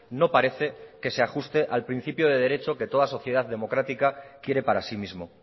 no parece que se ajuste al principio de derecho que toda sociedad democrática quiere para sí mismo